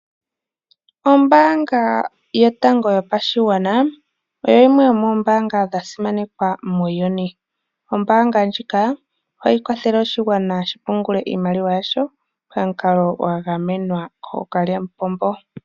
Ombanga yotango yopashigwana oyo yimwe yomombanga dhasimanekwa muuyuni. Ombanga ndjika ohayi kwathele oshigwana shi pungulale iimaliwa yasho pamukalo gwa gamenwa ko kalyamupombo.